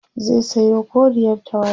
zai Sayo koriyar tawada